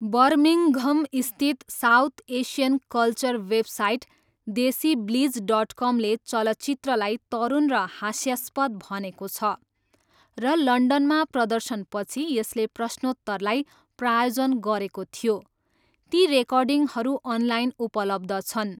बर्मिङ्घमस्थित south Asian culture website DesiBlitz डटकमले चलचित्रलाई तरुण र हास्यास्पद भनेको छ र लन्डनमा प्रदर्शनपछि यसले प्रश्नोत्तरलाई प्रायोजन गरेको थियो, ती रेकर्डिङहरू अनलाइन उपलब्ध छन्।